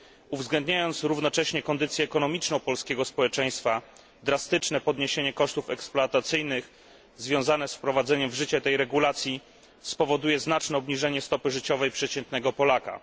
Uwzględniając równocześnie kondycję ekonomiczną polskiego społeczeństwa, drastyczne podniesienie kosztów eksploatacyjnych związane z wprowadzeniem w życie tej regulacji, spowoduje znaczne obniżenie stopy życiowej przeciętnego Polaka.